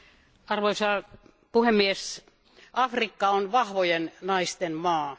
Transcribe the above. Arvoisa puhemies, Afrikka on vahvojen naisten maa.